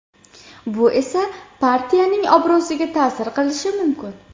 Bu esa partiyaning obro‘siga ta’sir qilishi mumkin.